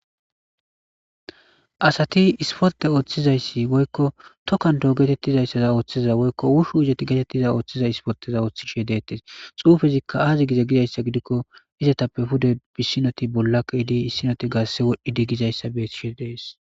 asati isforte ooththizayssi woykko tokkando getettizayssaza ooththiza woykko wushu izoti getettiza ooththiza ispoteza ooththishe deettes xuufezikka aazi giza gizayssa gidikko izatappe pude bissinoti bollaqa idi issinoti gaasse wodhdhi di gizayssa beishe dees